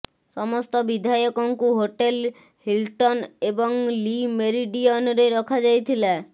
ସମସ୍ତ ବିଧାୟକଙ୍କୁ hotel Hilton ଏବଂ ଲି ମେରିଡିୟନରେ ରଖାଯାଇଥିଲା